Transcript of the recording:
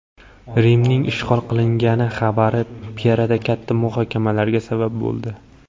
Rimning ishg‘ol qilingani xabari imperiyada katta muhokamalarga sabab bo‘ldi.